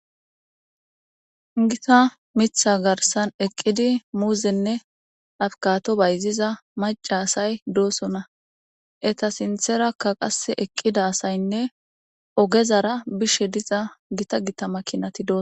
Giththa miththa garissan eqqidi muzenne abokkado bayizizza mac'a asay de'osona etta sintherakka kasse eqqida asayinne oggezara bizza giththa giththa makinati de'es.